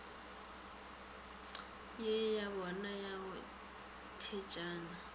ye yabona ya go thetšana